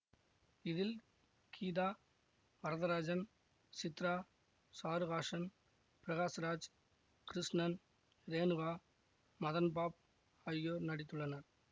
இதில் கீதா வரதராசன் சித்ரா சாரு ஹாசன் பிரகாஷ் ராஜ் கிருஷ்ணன் ரேணுகா மதன்பாப் ஆகியார் நடித்துள்ளனர்